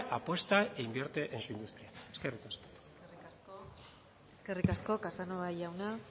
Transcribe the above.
apuesta e invierte en su industria eskerrik asko eskerrik asko casanova jauna